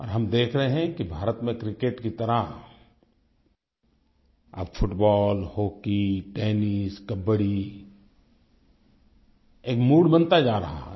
और हम देख रहे हैं कि भारत में क्रिकेट की तरह अब फुटबॉल हॉकी टेनिस कबड्डी एक मूड बनता जा रहा है